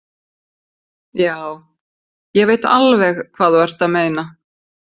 Já, ég veit alveg hvað þú ert að meina.